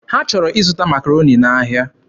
Ha chọrọ ịzụta Makaroni n'ahịa.